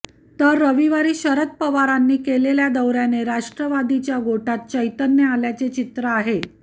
तर रविवारी शरद पवारांनी केलेल्या दौऱ्याने राष्ट्रवादीच्या गोटात चैतन्य आल्याचे चित्र आहे